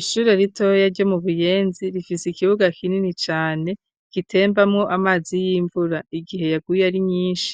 Ishure ritoya, ryo mu Buyenzi, rifise ikibuga, kinini cane, gitembamwo amazi y'imvura, igihe yaguye, ari nyinshi;